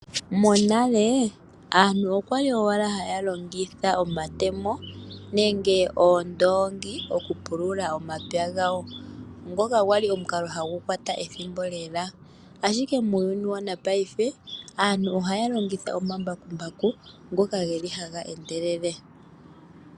Monale aantu okwali owala haya longitha omatemo, nenge oondoongi oku pulula omapya gawo, ngoka gwali omukalo hagu kwata ethimbo lela, ashike muuyuni wo wongaashingeyi aantu ohaya longitha omambakumbaku ngoka geli haga endelele.